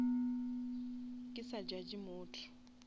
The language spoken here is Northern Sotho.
ke sa judge motho